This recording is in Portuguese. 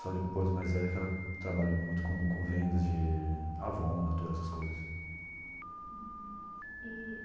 Só depois de mais velha que ela trabalhou muito com com vendas de Avon, Natura, essas coisas.